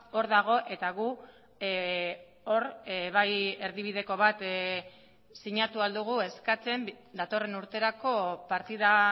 hor dago eta gu hor bai erdibideko bat sinatu ahal dugu eskatzen datorren urterako partida